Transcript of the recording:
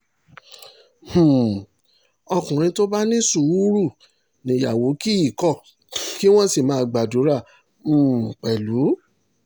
um ọkùnrin tó bá ní sùúrù níyàwó kì í kọ́ kí wọ́n sì máa gbàdúrà um pẹ̀lú